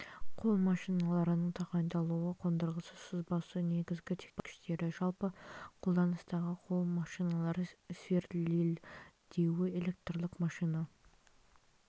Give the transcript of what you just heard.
қол машиналарының тағайындалуы қондырғы сызбасы негізгі техникалық пайдалану көрсеткіштері жалпы қолданыстағы қол машиналары сверлильдеуі электрлік машина